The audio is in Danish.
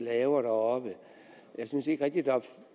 laver deroppe synes jeg